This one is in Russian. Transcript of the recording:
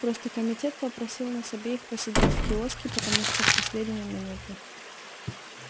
просто комитет попросил нас обеих посидеть в киоске потому что в последнюю минуту